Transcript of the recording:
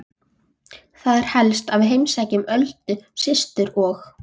Það er helst að við heimsækjum Öldu systur og